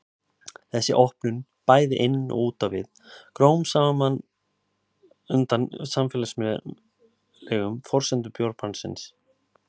Þessi opnun, bæði inn og út á við, gróf smám saman undan samfélagslegum forsendum bjórbannsins.